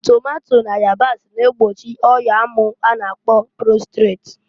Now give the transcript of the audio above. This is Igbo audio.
Tomato na yabasi na-egbochi ọya amụ a na-akpọ prostret.